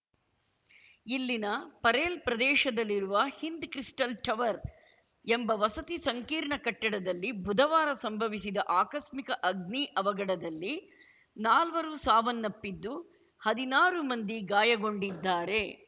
ಇಲ್ಲಿನ ಪರೇಲ್‌ ಪ್ರದೇಶದಲ್ಲಿರುವ Hind crystal tower ಎಂಬ ವಸತಿ ಸಂಕೀರ್ಣ ಕಟ್ಟಡದಲ್ಲಿ ಬುಧವಾರ ಸಂಭವಿಸಿದ ಆಕಸ್ಮಿಕ ಅಗ್ನಿ ಅವಘಡದಲ್ಲಿ ನಾಲ್ವರು ಸಾವನ್ನಪ್ಪಿದ್ದು ಹದಿನಾರು ಮಂದಿ ಗಾಯಗೊಂಡಿದ್ದಾರೆ